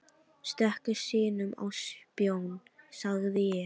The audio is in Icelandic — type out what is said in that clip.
Stöku sinnum á spón, sagði ég.